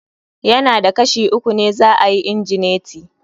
Ya na da Kashi uku ne za ayi igineti.